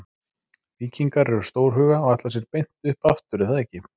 Víkingar eru stórhuga og ætla sér beint upp aftur er það ekki?